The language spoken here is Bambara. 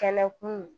Kɛnɛ kun